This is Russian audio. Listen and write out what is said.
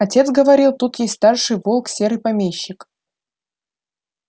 отец говорил тут есть старший волк серый помещик